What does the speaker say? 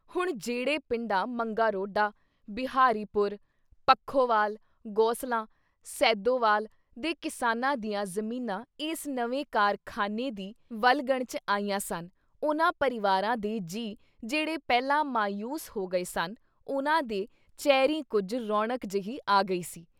ਹੁਣ ਜਿਹੜੇ ਪਿੰਡਾਂ ਮੰਗਾ ਰੋਡਾ, ਬਿਹਾਰੀ ਪੁਰ, ਪੱਖੋਵਾਲ, ਗੋਸਲਾਂ, ਸੈਦੋਵਾਲ ਦੇ ਕਿਸਾਨਾਂ ਦੀਆਂ ਜ਼ਮੀਨਾਂ ਇਸ ਨਵੇਂ ਕਾਰਖਾਨੇ ਦੀ ਵਲਗਣ 'ਚ ਆਈਆਂ ਸਨ ਉਨ੍ਹਾਂ ਪਰਿਵਾਰਾਂ ਦੇ ਜੀਅ ਜਿਹੜੇ ਪਹਿਲਾਂ ਮਾਯੂਸ ਹੋ ਗਏ ਸਨ ਉਨ੍ਹਾਂ ਦੇ ਚੇਹਰੀਂ ਕੁਝ ਰੌਣਕ ਜੇਹੀ ਆ ਗਈ ਸੀ ।